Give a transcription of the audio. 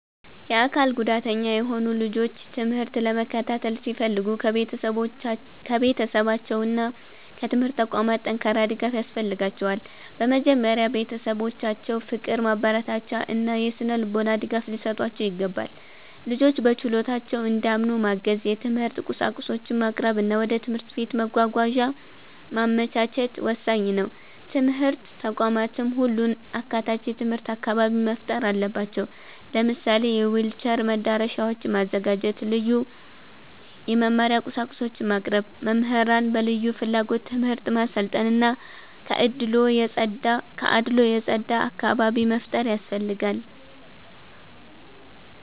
የአካል ጉዳተኛ የሆኑ ልጆች ትምህርት ለመከታተል ሲፈልጉ ከቤተሰባቸውና ከትምህርት ተቋማት ጠንካራ ድጋፍ ያስፈልጋቸዋል። በመጀመሪያ ቤተሰቦቻቸው ፍቅር፣ ማበረታቻ እና የሥነ-ልቦና ድጋፍ ሊሰጧቸው ይገባል። ልጆቹ በችሎታቸው እንዲያምኑ ማገዝ፣ የትምህርት ቁሳቁሶችን ማቅረብ እና ወደ ትምህርት ቤት መጓጓዣ ማመቻቸት ወሳኝ ነው። ትምህርት ተቋማትም ሁሉን አካታች የትምህርት አካባቢ መፍጠር አለባቸው። ለምሳሌ የዊልቸር መዳረሻዎችን ማዘጋጀት፣ ልዩ የመማሪያ ቁሳቁሶችን ማቅረብ፣ መምህራንን በልዩ ፍላጎት ትምህርት ማሰልጠን እና ከአድልዎ የጸዳ አካባቢ መፍጠር ያስፈልጋል።